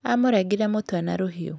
Amũrengire mũtwe na rũhiũ.